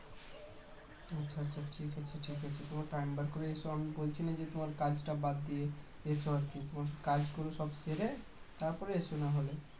আচ্ছা আচ্ছা ঠিকআছে ঠিকআছে তোমার time বের করে এস আমি বলছিনা যে তোমার কাজটা বাদ দিয়া এস আর কি কাজগুলো সব সেরে তারপরে এস না হলে